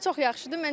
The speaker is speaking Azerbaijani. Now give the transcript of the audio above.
Bu çox yaxşıdır.